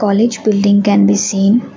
College building can be seen.